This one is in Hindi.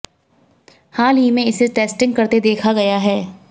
हाल ही में इसे टेस्टिंग करते देखा गया है